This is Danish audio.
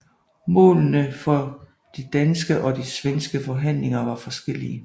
Målene for de danske og de svenske forhandlinger var forskellige